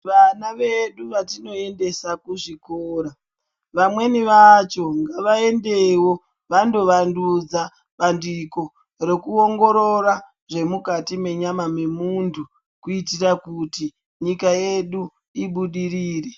Vana vedu vatinoendesa kuzvikora, vamweni vacho ngavaendewo vandovandudza bandiko rekuongorora zvemukati mechama memuntu kuitira kuti nyika yedu ibudirire.